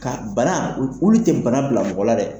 Ka bana o boni tɛ bana bila mɔgɔ la dɛ!